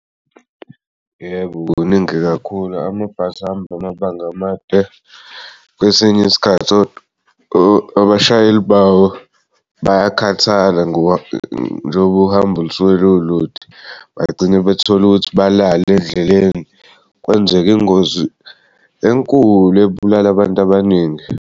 Yebo, kuningi kakhulu amabhasi ahamba amabanga amade kwesinye isikhathi abashayeli babo bayakhathala njengoba uhambo lusuke lulude bagcine bethola ukuthi balala endleleni kwenzeke ingozi enkulu ebulala abantu baningi.